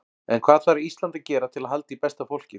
En hvað þarf Ísland að gera til að halda í besta fólkið?